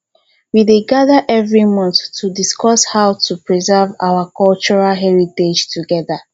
we dey gather every month to discuss how to preserve our cultural heritage together